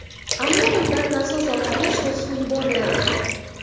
Ammo undan nasos orqali sho‘r suv yuboriladi.